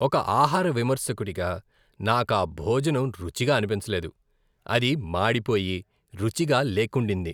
ఒక ఆహార విమర్శకుడిగా నాకు ఆ భోజనం రుచిగా అనిపించలేదు. అది మాడిపోయి, రుచిగా లేకుండింది.